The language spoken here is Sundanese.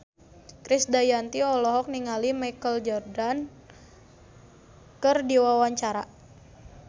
Krisdayanti olohok ningali Michael Jordan keur diwawancara